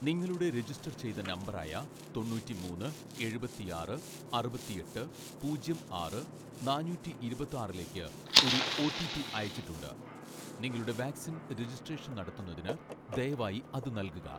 നിങ്ങളുടെ രജിസ്‌റ്റർ ചെയ്‌ത നമ്പറായ തൊണ്ണൂറ്റി മൂന്ന് എഴുപത്തിയാറ്‌ അറുപത്തിയെട്ട് പൂജ്യം ആറ് നാനൂറ്റി ഇരുപത്തിയാറിലേക്കു ഒരു ഓ.ടി. പി അയച്ചിട്ടുണ്ട്. നിങ്ങളുടെ വാക്‌സിൻ രജിസ്‌ട്രേഷൻ നടത്തുന്നതിന് ദയവായി അത് നൽകുക